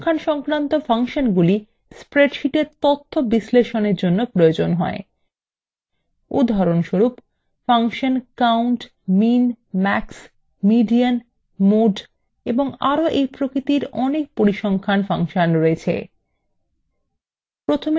পরিসংখ্যান সংক্রান্ত ফাংশনগুলি